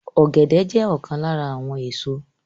Ọ̀gẹ̀dẹ̀ jẹ́ ọ̀kan lára àwọn èso